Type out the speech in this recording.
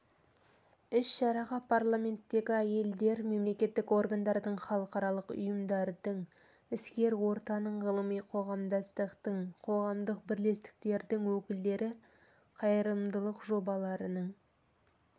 іс-шараға парламенттердегі әйелдер мемлекеттік органдардың халықаралық ұйымдардың іскер ортаның ғылыми қоғамдастықтың қоғамдық бірлестіктердің өкілдері қайырымдылық жобаларының